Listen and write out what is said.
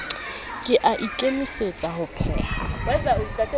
ke a ikemisetsa ho pheha